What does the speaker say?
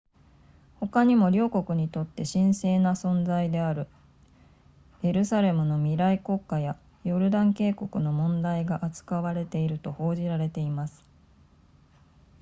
ほかにも両国にとって神聖な存在であるエルサレムの未来国家やヨルダン渓谷の問題が扱われていると報じられています